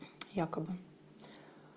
якобы